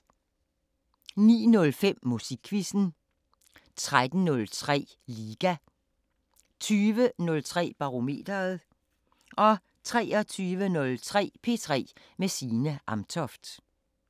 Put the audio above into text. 09:05: Musikquizzen 13:03: Liga 20:03: Barometeret 23:03: P3 med Signe Amtoft